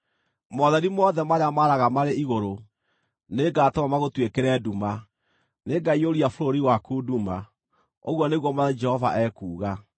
Motheri mothe marĩa maaraga marĩ igũrũ nĩngatũma magũtuĩkĩre nduma; nĩngaiyũria bũrũri waku nduma, ũguo nĩguo Mwathani Jehova ekuuga.